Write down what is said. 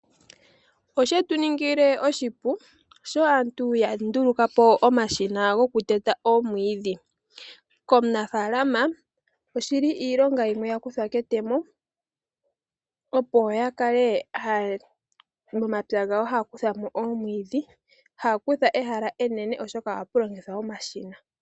Osha ninga oshipu sho aantu ya nduluka po omashina goku teta omwiidhi . Komunafaalama osha ninga oshipu opo ya kale haya kutha mo omwiidhi momapya gawo meendelelo taya longitha omashina.